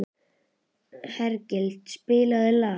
Hergill, spilaðu lag.